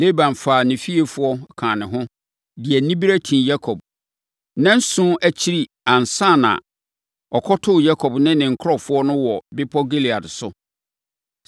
Laban faa ne fiefoɔ, kaa ne ho, de anibereɛ tii Yakob. Nnanson akyiri ansa na ɔkɔtoo Yakob ne ne nkurɔfoɔ no wɔ bepɔ Gilead so.